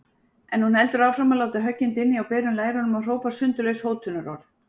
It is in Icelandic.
En hún heldur áfram að láta höggin dynja á berum lærunum og hrópa sundurlaus hótunarorð.